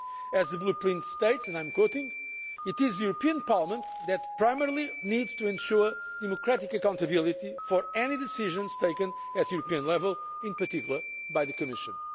As the Blueprint states, and I quote It is the European Parliament that primarily needs to ensure democratic accountability for any decisions taken at EU level, in particular by the Commission'.